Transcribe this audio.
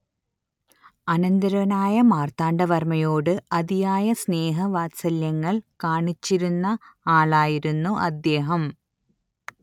അനന്തരവനായ മാർത്താണ്ഡവർമ്മയോട് അതിയായ സ്നേഹവാത്സല്യങ്ങൾ കാണിച്ചിരുന്ന ആളായിരുന്നു അദേഹം